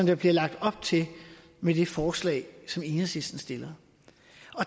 der bliver lagt op til med det forslag som enhedslisten stiller